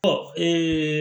Ɔ